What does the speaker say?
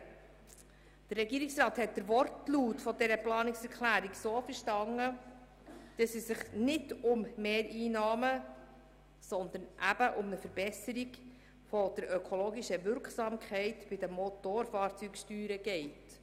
Der Regierungsrat hat den Wortlaut dieser Planungserklärung so verstanden, dass es nicht um Mehreinnahmen, sondern um eine Verbesserung der ökologischen Wirksamkeit der Motorfahrzeugsteuer geht.